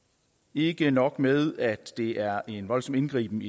ikke nok med at det er en voldsom indgriben